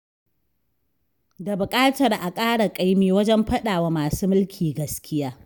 Da buƙatar a ƙara ƙaimi wajen faɗawa masu mulki gaskiya.